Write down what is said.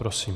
Prosím.